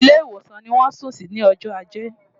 Ilé ìwòsàn ni wọ́n sùn sí ní ọjọ́ ajé.